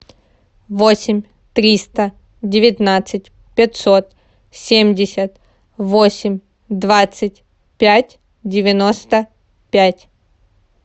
восемь триста девятнадцать пятьсот семьдесят восемь двадцать пять девяносто пять